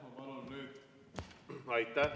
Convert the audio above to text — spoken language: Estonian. Aitäh!